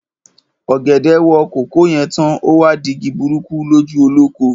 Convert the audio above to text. Ọ̀gẹ̀dẹ̀ wo kòkó yè tán, o wá di igi burúkú lójú olóko.